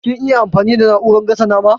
Kin iya amfani da na'urar gasa nama?